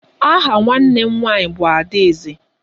Aha nwanne m nwaanyị bụ Adaeze.